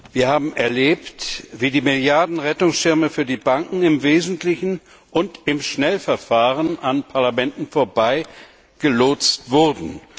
Wir haben erlebt, wie die Milliarden Rettungsschirme für die Banken im Wesentlichen im Schnellverfahren an den Parlamenten vorbei gelotst wurden.